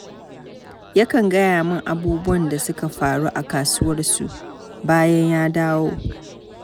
Yakan gaya min abubuwan da suka faru a kasuwarsu bayan ya dawo.